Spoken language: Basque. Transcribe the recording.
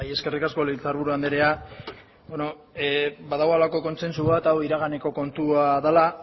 eskerrik asko legebiltzarburu anderea badago halako kontsentsu bat hau iraganeko kontua dela